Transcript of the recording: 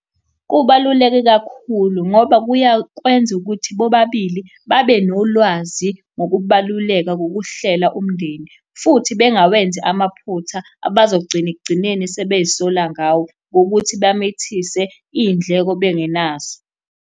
Kubaluleke kakhulu, ngoba kuyakwenza ukuthi bobabili babe nolwazi ngokubaluleka kokuhlela umndeni, futhi bengawenzi amaphutha abazogcina ekugcineni sebey'sola ngawo, ngokuthi bamithise iy'ndleko bengenazo.